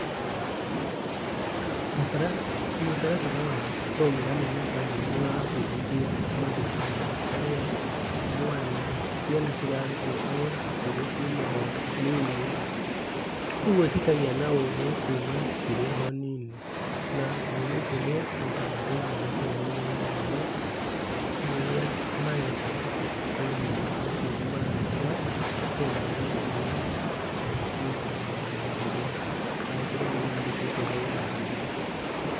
Mũtaratara wa programming na coding nĩ ũrabundithio mathukuru-inĩ kũrĩa mwana, ciana cirarutwo cirĩ kuma o nini. Koguo cikagĩa na ũgĩ kuma cirĩ o nini, na ugĩ ũcio nĩ ũkamateithia nakũu thutha-inĩ, rĩrĩa mareka coding, na rĩrĩa marahũthĩra programming ya kompiuta thutha-ini rĩrĩa angĩkorwo nĩ mandĩkĩtwo wĩra handũ.